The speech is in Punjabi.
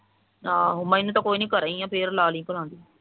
ਆਹੋ ਮੈਨੂੰ ਤਾਂ ਕੋਈ ਨੀ ਮੈਂ ਘਰੀ ਐ ਫਿਰ ਲਾ ਲਈ ਭਰਾ